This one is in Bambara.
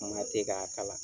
Kuma tɛ k'a kala